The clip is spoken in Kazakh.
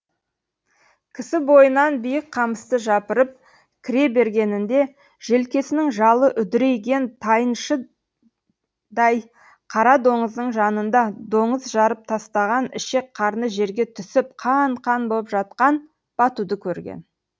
кісі бойынан биік қамысты жапырып кіре бергенінде желкесінің жалы үдірейген тайыншыдай қара доңыздың жанында доңыз жарып тастаған ішек қарны жерге түсіп қан қан боп жатқан батуды көрген